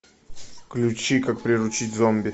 включи как приручить зомби